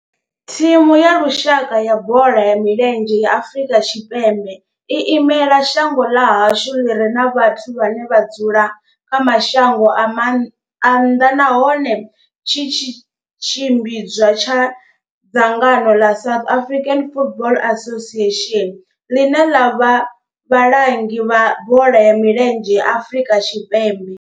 Thimu ya lushaka ya bola ya milenzhe ya Afrika Tshipembe i imela shango ḽa hashu ḽi re na vhathu vhane vha dzula kha mashango a nnḓa nahone tshi tshimbidzwa nga dzangano ḽa South African Football Association, ḽine ḽa vha vhalangi vha bola ya milenzhe Afrika Tshipembe.